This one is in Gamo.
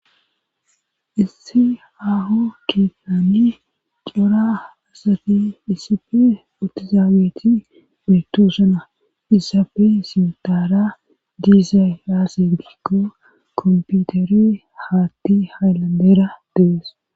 Issi aho keettani cora asati iisife utizaabeeti betoosana isabe sintara diizay aase gikko komputeri haatti haylandera dees.